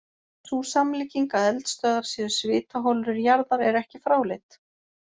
Sú samlíking að eldstöðvar séu svitaholur jarðar er ekki fráleit.